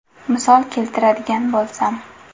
Misol keltiradigan bo‘lsam.